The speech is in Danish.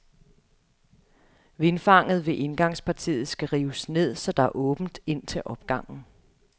Vindfanget ved indgangspartiet skal rives ned, så der er åbent ind til opgangen.